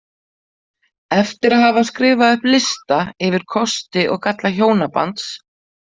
Eftir að hafa skrifað upp lista yfir kosti og galla hjónabands.